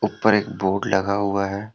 और एक बोर्ड लगा हुआ है।